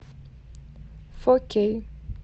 фор кей